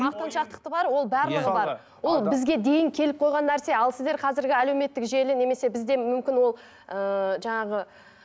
мақтаншақтық бар ол ол бізге дейін келіп қойған нәрсе ал сіздер қазіргі әлеуметтік желі немесе бізде мүмкін ол ыыы жаңағы